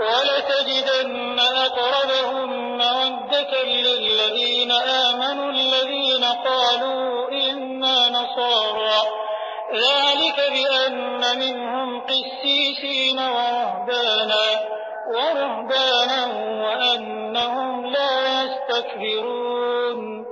وَلَتَجِدَنَّ أَقْرَبَهُم مَّوَدَّةً لِّلَّذِينَ آمَنُوا الَّذِينَ قَالُوا إِنَّا نَصَارَىٰ ۚ ذَٰلِكَ بِأَنَّ مِنْهُمْ قِسِّيسِينَ وَرُهْبَانًا وَأَنَّهُمْ لَا يَسْتَكْبِرُونَ